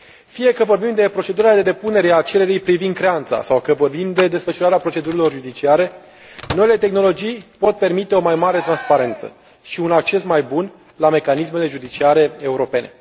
Fie că vorbim de procedura de depunere a cererii privind creanța sau că vorbim de desfășurarea procedurilor judiciare, noile tehnologii pot permite o mai mare transparență și un acces mai bun la mecanismele judiciare europene.